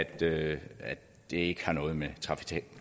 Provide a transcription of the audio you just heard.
det ikke har noget med